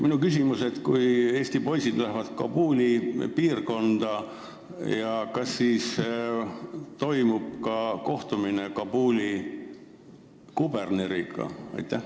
Minu küsimus on selline: kui meie poisid lähevad Kabuli piirkonda, kas siis toimub ka kohtumine Kabuli kuberneriga?